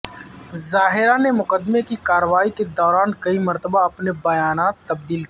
ظاہرہ نے مقدمے کی کارروائی کے دوران کئی مرتبہ اپنے بیانات تبدیل کیے